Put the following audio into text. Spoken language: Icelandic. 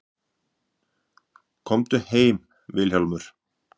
Komdu heim Vilhjálmur.